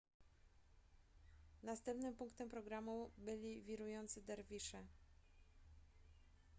następnym punktem programu byli wirujący derwisze